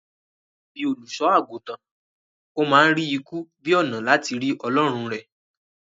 Bíi olùṣọ-àgùntàn, ó ma ń rí ikú bíi ònà láti rí ọlọrun rẹ̀